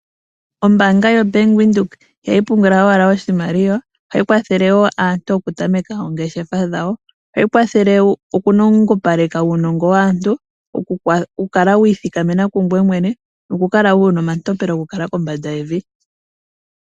Ombanga yobank windheok ihayi pungula owala oshimaliwa ohayi kwathele woo aantu okutameka oongeshefa dhawo ohayi kwathele okunongopaleka uunongo waantu okukala wiithikameka kungwe mwene nokukala wuna omatompelo gokukala kombanda yevi.